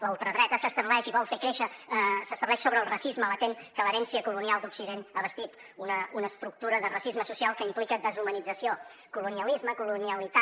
la ultradreta s’estableix sobre el racisme latent que l’herència colonial d’occident ha bastit una estructura de racisme social que implica deshumanització colonialisme colonialitat